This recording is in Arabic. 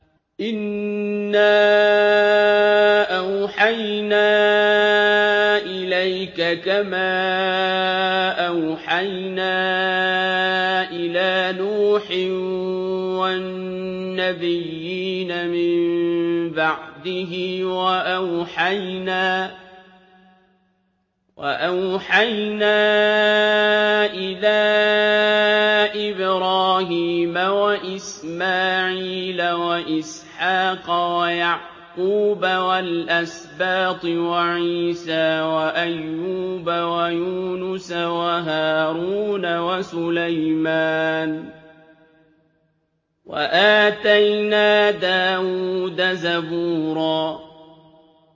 ۞ إِنَّا أَوْحَيْنَا إِلَيْكَ كَمَا أَوْحَيْنَا إِلَىٰ نُوحٍ وَالنَّبِيِّينَ مِن بَعْدِهِ ۚ وَأَوْحَيْنَا إِلَىٰ إِبْرَاهِيمَ وَإِسْمَاعِيلَ وَإِسْحَاقَ وَيَعْقُوبَ وَالْأَسْبَاطِ وَعِيسَىٰ وَأَيُّوبَ وَيُونُسَ وَهَارُونَ وَسُلَيْمَانَ ۚ وَآتَيْنَا دَاوُودَ زَبُورًا